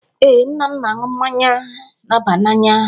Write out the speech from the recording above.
Ee, nna m na-aṅụ mmanya na-aba n'anya